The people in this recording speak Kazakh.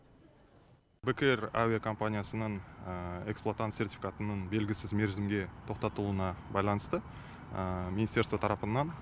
бек эйр әуе компаниясының эксплуатант сертификатының белгісіз мерзімге тоқтатылуына байланысты министерство тарапынан